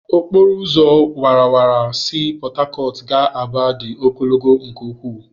Okporo ụzọ awara awara si Port Harcourt gaa Aba dị ogologo nke ukwu.